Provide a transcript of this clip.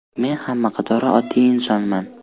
Men hamma qatori oddiy insonman.